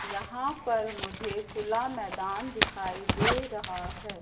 यहां पर मुझे खुला मैदान दिखाई दे रहा है।